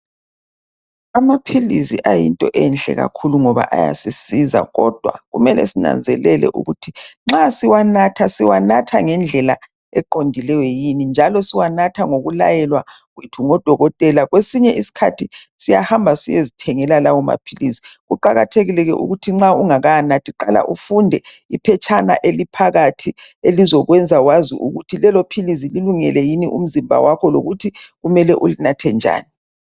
Amaphilisi ayinto enhle kakhulu ngoba ayasisiza kodwa kumele sinanzelele ukuthi nxa siwanatha siwanatha ngendlela eqondileyo yini njalo siwanatha ngokulayelwa kwethu ngodokotela kwesinye iskhathi siyahamba siyezithengela lawo maphilisi. Kuqakathekile ke ukuthi nxa ungakawanathi qala ufunde iphetshana eliphakathi elizakwenza wazi ukuthi lelophilisi lilungele yini umzimba wakho lokuthi kumele ulinathe njani.